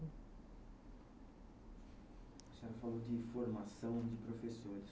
A senhora falou de formação de professores.